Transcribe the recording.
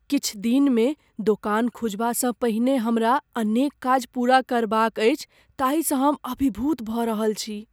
किछु दिनमे दोकान खुजबासँ पहिने हमरा अनेक काज पूरा करबाक अछि ताहिसँ हम अभिभूत भऽ रहल छी।